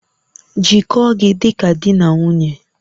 Jikọọ gị dị ka di na nwunye